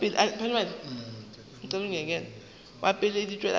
wa pele di tšwela pele